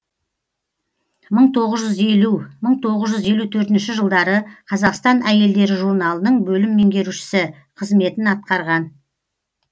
мың тоғыз жүз елу мың тоғыз жүз елу төртінші жылдары қазақстан әйелдері журналының бөлім меңгерушісі қызметін атқарған